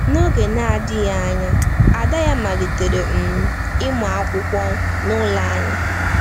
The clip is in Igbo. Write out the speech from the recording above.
N’oge na-adịghị anya, ada ya malitere um ịmụ akwụkwọ n’ụlọ anyị.